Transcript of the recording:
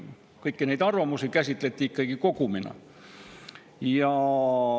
Kõiki neid arvamusi käsitleti ikkagi kogumina.